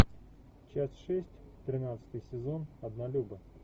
часть шесть тринадцатый сезон однолюбы